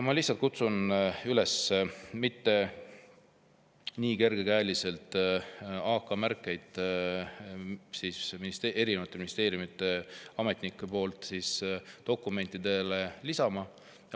Ma lihtsalt kutsun erinevate ministeeriumide ametnikke üles mitte nii kergekäeliselt AK-märkeid dokumentidele lisama.